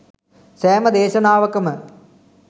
සෑම දේශනාවකම